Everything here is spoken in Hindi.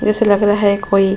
जैसे लग रहा हैं कोई --